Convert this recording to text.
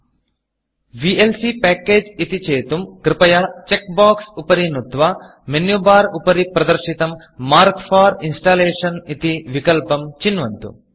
VLC Packageविएल्सी packages इति चेतुं कृपया चेक Boxचेक् बोक्स् उपरि नुत्वा मेनु Barमेन्यु बार् उपरि प्रदर्शितं मार्क फोर Installationमार्क् फार् इन्स्टालेषन् इति विकल्पं चिन्वन्तु